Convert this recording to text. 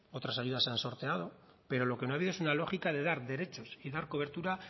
otras ayudas se han sorteado pero lo que no ha habido es una lógica de dar derechos y dar cobertura